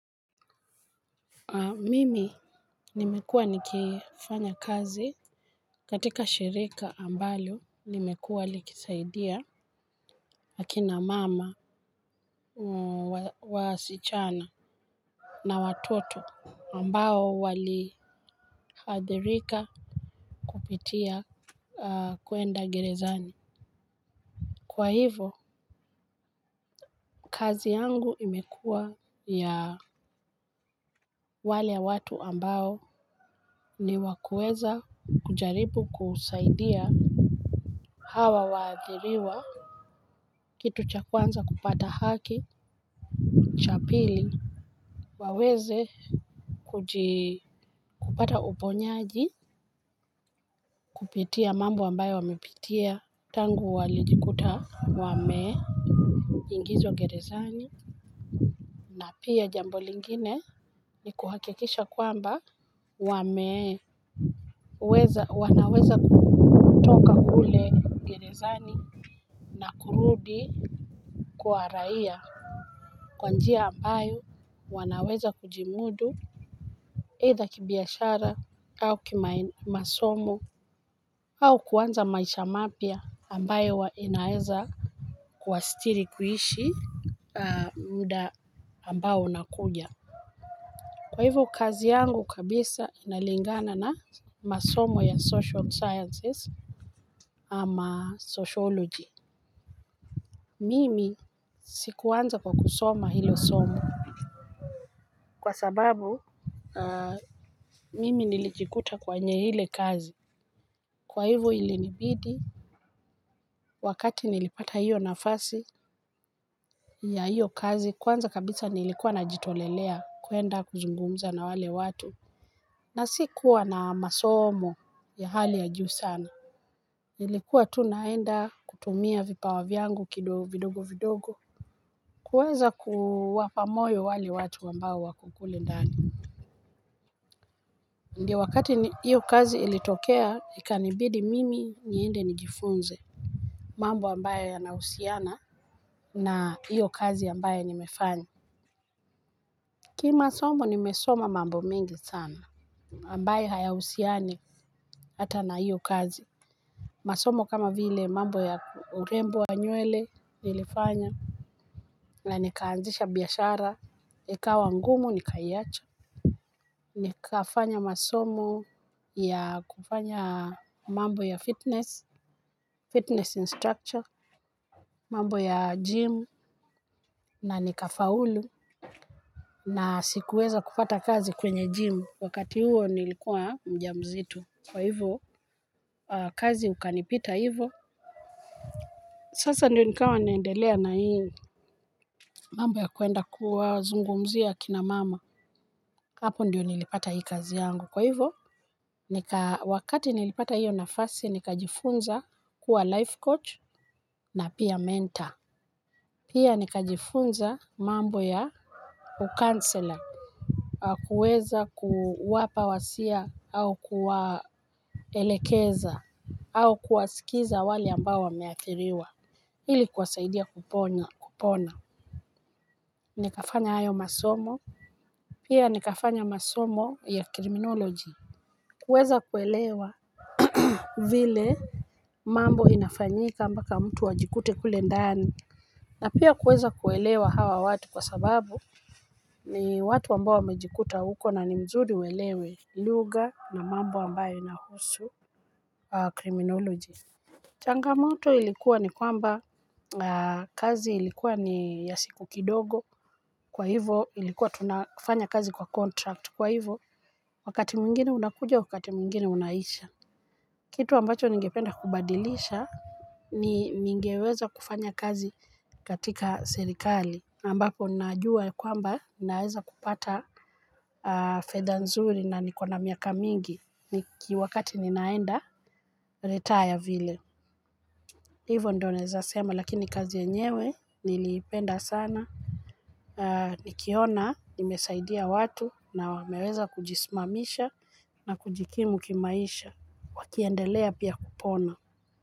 Mimi nimekuwa nikifanya kazi katika shirika ambalo limekuwa likisaidia akina mama wasichana na watoto ambao wali hadhirika kupitia kuenda gerezani kwa hivo kazi yangu imekuwa ya wale watu ambao ni wakueza kujaribu kusaidia hawa waadhiriwa. Kitu cha kwanza kupata haki. Cha pili Waweze Kujikupata uponyaji kupitia mambo ambayo wamepitia. Tangu walijikuta Wame Ingizwa gerezani na pia jambo lingine ni kuhakekisha kwamba Wame Weza wanaweza kutoka gerezani na kurudi Kuaraia Kwanjia ambayo wanaweza kujimudu eidha kibiashara au kima masomo au kuwanza maisha mapya ambayo inaeza kuwasitiri kuhishi muda ambayo unakuja. Kwa hivyo kazi yangu kabisa inalingana na masomo ya social sciences ama sociology. Mimi sikuanza kwa kusoma hilo somo kwa sababu mimi nilijikuta kwenye hile kazi. Kwa hivo ilinibidi wakati nilipata hiyo nafasi ya hiyo kazi kwanza kabisa nilikuwa najitolelea kuenda kuzungumza na wale watu. Na si kuwa na masomo ya hali ya juu sana nilikuwa tu naenda kutumia kipawa yangu vidogo vidogo. Kuweza kuwapa moyo wale watu wambao wako kule ndani. Ndio wakati hiyo kazi ilitokea ikanibidi mimi nyeende nijifunze mambo ambayo yanausiana na hiyo kazi ambaye nimefanya. Kimasomo nimesoma mambo mengi sana ambaye hayausiani hata na hiyo kazi. Masomo kama vile mambo ya urembo wa nywele nilifanya. Na nikaanzisha biyashara ikawa ngumu, nikaiacha. Nikafanya masomo ya kufanya mambo ya fitness Fitness instructor, mambo ya gym. Na nikafaulu. Na sikuweza kupata kazi kwenye gym wakati huo nilikuwa mjamzito. Kwa hivo, kazi ukanipita hivo. Sasa ndio nikawa nendelea na hii mambo ya kuenda kuwa zungumzia kina mama. Hapo ndio nilipata hii kazi yangu. Kwa hivo, wakati nilipata hiyo nafasi, nika jifunza kuwa life coach na pia mentor. Pia nikajifunza mambo ya ukansela na kuweza kuwapa wasia au kuwaelekeza au kuwasikiza wali ambao wameathiriwa. Hili kwasaidia kupona nikafanya hayo masomo pia nikafanya masomo ya criminology kuweza kuelewa vile mambo inafanyika mbaka mtu ajikute kule ndani. Na pia kuweza kuelewa hawa watu kwa sababu ni watu ambao mejikuta huko na ni mzudi welewe luga na mambo ambayo inahusu. Kwa kriminoloji. Changamoto ilikuwa ni kwamba kazi ilikuwa ni ya siku kidogo kwa hivo ilikuwa tunafanya kazi kwa kontrakt kwa hivo. Wakati mwingini unakuja wakati mwingini unaisha. Kitu ambacho ningependa kubadilisha ni ningeweza kufanya kazi katika serikali ambako najua kwamba naeza kupata fedha nzuri na nikona miaka mingi ni kiwakati ninaenda retire vile. Hivo ndo neza sema lakini kazi yenyewe nilipenda sana. Nikiona nimesaidia watu na wameweza kujismamisha na kujikimu kimaisha wakiendelea pia kupona.